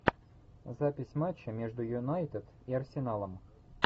запись матча между юнайтед и арсеналом